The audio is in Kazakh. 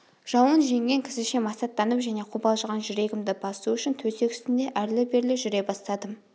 жауын жеңген кісіше масаттанып және қобалжыған жүрегімді басу үшін төсек үстінде әрлі-берлі жүре бастадым